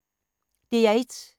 DR1